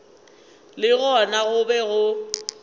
le gona go be go